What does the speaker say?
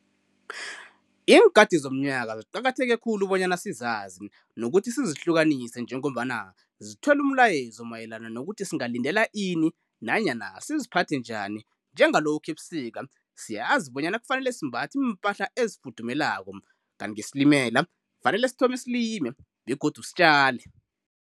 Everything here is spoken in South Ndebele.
Iinkathi zomnyaka ziqakatheke khulu bonyana sizazi nokuthi sizihlukanise njengombana sithwele umlayezo mayelana nokuthi singalindela ini nanyana siziphathe njani njengalokha ebusika siyazi bonyana kufanele simbathe iimpahla ezifudumeleko kanti ngesilimela kufanele sithome silime begodu sitjale.